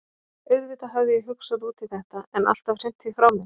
Auðvitað hafði ég hugsað út í þetta, en alltaf hrint því frá mér.